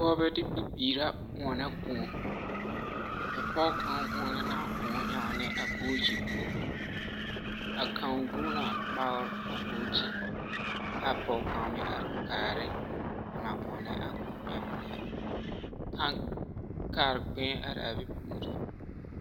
Pͻgebԑ ne bibiiri la ͻnnԑ kõͻ, a pͻge kaŋ ͻnnͻ la a kõͻ ennԑ a bookyi poͻ. A kaŋ guuni na kpagere a bookyi aa pͻge kaŋa meŋ are kaarԑ o naŋ ͻnnͻ a kõͻ ԑnnԑ, taŋ kare kpԑԑ arԑԑ bԑ puori.